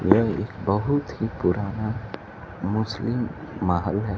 यह एक बहोत ही पुराना मुस्लिम महल है।